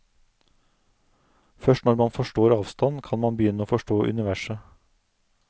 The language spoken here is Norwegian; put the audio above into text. Først når man forstår avstand, kan man begynne å forstå universet.